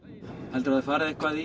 heldurðu að þið farið eitthvað